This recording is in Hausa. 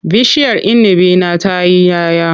Bishiyar inibi na ta yi 'ya 'ya.